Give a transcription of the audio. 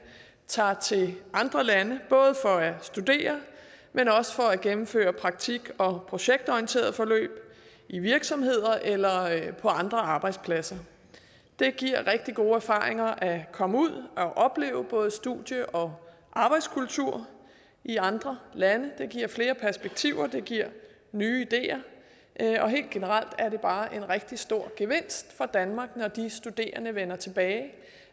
tager til andre lande både for at studere men også for at gennemføre praktik og projektorienterede forløb i virksomheder eller på andre arbejdspladser det giver rigtig gode erfaringer at komme ud og opleve både studie og arbejdskultur i andre lande det giver flere perspektiver det giver nye ideer og helt generelt er det bare en rigtig stor gevinst for danmark når de studerende vender tilbage